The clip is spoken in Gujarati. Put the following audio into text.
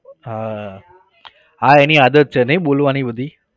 હા હા એની આદત છે નહિ બોલવાની બધી?